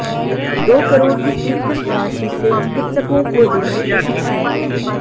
दो करोड़ की स्वीकृ त राशि से चिकित्सकों को देंगे प्रशिक्षण